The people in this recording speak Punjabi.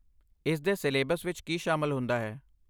ਇਸ ਦੇ ਸਿਲੇਬਸ ਵਿੱਚ ਕੀ ਸ਼ਾਮਲ ਹੁੰਦਾ ਹੈ?